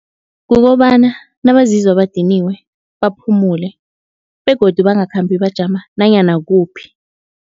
Kukobana nabazizwa badiniwe baphumule begodu bangakhambi bajama nanyana kuphi.